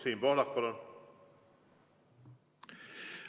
Siim Pohlak, palun!